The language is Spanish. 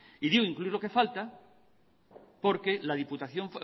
y digo incluir lo que falta porque la diputación